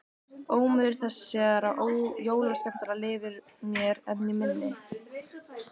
Ómur þessara jólaskemmtana lifir mér enn í minni.